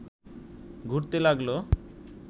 ঘুরতে লাগল